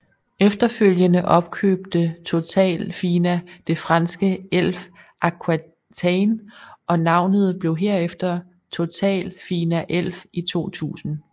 Efterfølgende opkøbte Total Fina det franske Elf Aquitaine og navnet blev herefter TotalFinaElf i 2000